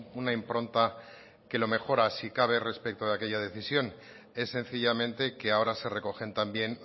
una impronta que lo mejora si cabe respecto de aquella decisión es sencillamente que ahora se recogen también